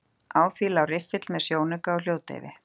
Á því lá riffill með sjónauka og hljóðdeyfi.